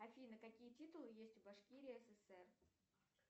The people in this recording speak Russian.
афина какие титулы есть у башкирии ссср